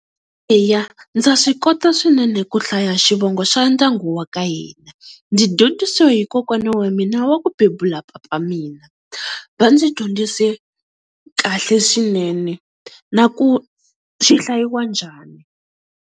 Eya ndza swi kota swinene ku hlaya xivongo xa ndyangu wa ka hina, ndzi dyondzisiwe hi kokwana wa mina wa ku bebula papa mina. Va ndzi dyondzise kahle swinene na ku xi hlayiwa njhani.